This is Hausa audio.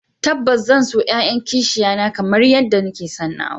Tabbas zan so 'ya'yan kishiya na kamar yadda nake son nawa